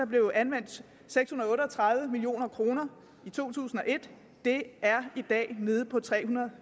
blev anvendt seks hundrede og otte og tredive million kroner i to tusind og et det er i dag nede på tre hundrede og